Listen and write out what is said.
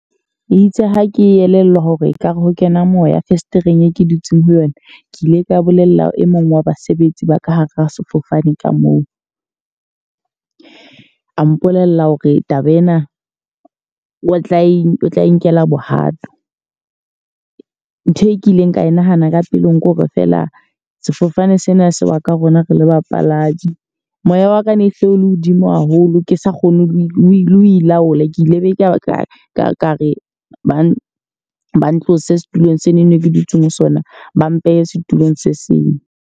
E itse ha ke elellwa hore ekare ho kena moya fesetereng e ke dutseng ho yona. Ke ile ka bolella e mong wa basebetsi ba ka hara sefofane ka moo. A mpolella hore taba ena o tla e tla nkelwa bohato. Ntho e kileng ka e nahana ka pelong kore fela sefofane sena se wa ka rona re le bapalami. Moya wa ka ne se o le hodimo haholo, ke sa kgone ho ilaola. Ke ile be ka re ba ne ba ntlose setulong sena eno ke dutseng ho sona, ba mpehe setulong se seng.